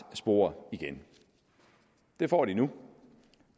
spor igen det får de nu